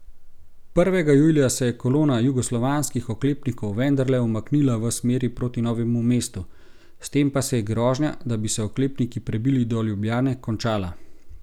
Prvega julija se je kolona jugoslovanskih oklepnikov vendarle umaknila v smeri proti Novemu mestu, s tem pa se je grožnja, da bi se oklepniki prebili do Ljubljane, končala.